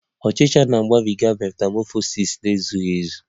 Ọchicha na-agabiga metamọfọsis na-ezughị ezu